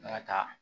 N'a ta